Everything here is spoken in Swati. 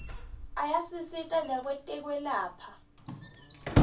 ayasisita nakwetekwelapha